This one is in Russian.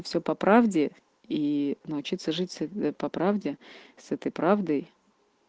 все по правде и научиться жить по правде с этой правдой